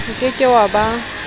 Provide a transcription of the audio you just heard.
o ke ke wa ba